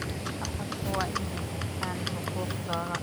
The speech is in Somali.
Shacabku waa inay bartaan xuquuqdooda.